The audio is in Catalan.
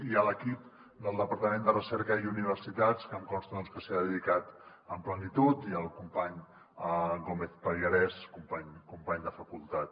i a l’equip del departament de recerca i universitats que em consta que s’hi ha dedicat amb plenitud i al company gómez pallarès company de facultat